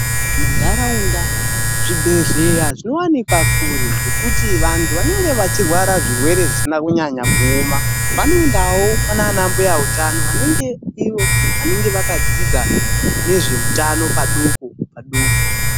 Muntaraunda, zvibhedhleya zvinowanikwa kure, zvekuti vantu vanenge vechirwara zvirwere zvisina kunyanya kuoma vanoendawo kwanaana mbuya utano, vanenge ivo vanenge vakadzidza nezveutano padoko padoko.